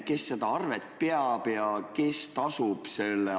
Kes selle üle arvet peab ja kes aktsiisi tasub?